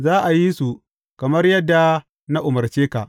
Za a yi su kamar yadda na umarce ka.